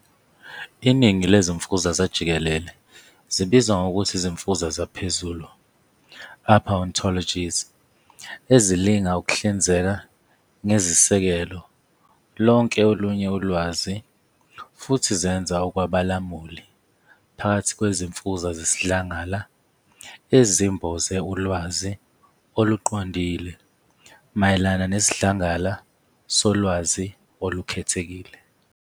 Iningi lezimfuza zajikelele zibizwa ngokuthi izimfuza zaphezulu, "upper ontologies", ezilinga ukuhlinzeka ngezisekelo lonke olunye ulwazi futhi zenza okwabalamuli phakathi kwezimfuza zesidlangala ezimboze ulwazi oluqondile mayelana nesidlangala solwazi olukhethekile.